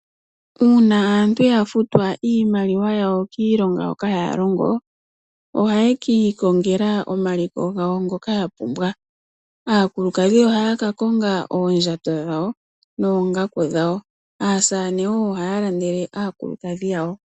Uuna aantu yafutwa iimaliwa yawo kiilonga hoka ya longo, ohaye kiikongela omaliko gawo ngoka yapumbwa . Aakulukadhi ohaya kakonga oondjato noongaku dhawo. Aasamane oyo haya landele aakulukadhi yawo .